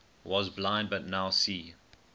was blind but now see